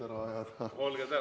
Olge tänatud!